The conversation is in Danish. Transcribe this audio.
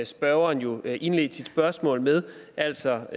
spørgeren jo indledte sit spørgsmål med altså